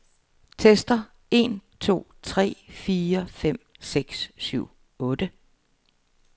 Tester en to tre fire fem seks syv otte.